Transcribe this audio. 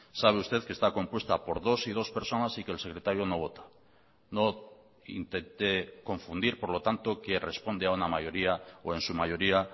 sabe usted que está compuesta por dos y dos personas y que el secretario no vota no intente confundir por lo tanto que responde a una mayoría o en su mayoría